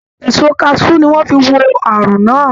Èso kaṣú ni wọ́n fi wo àrùn náà